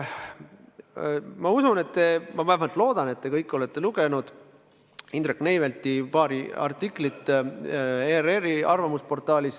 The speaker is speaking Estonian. Ma usun või vähemalt loodan, et te kõik olete lugenud Indrek Neivelti paari artiklit ERR-i arvamusportaalis.